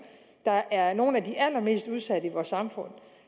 der er nogle af de allermest udsatte i vores samfund og